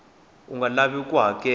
u nga lavi ku hakela